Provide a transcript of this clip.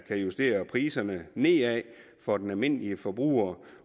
justere priserne nedad for den almindelige forbruger